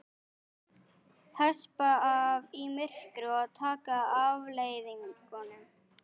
Hespa af í myrkri og taka afleiðingunum.